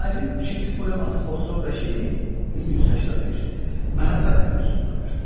Şairin ikinci poeması Xosrov və Şirin 1181 məhəbbət mövzusundadır.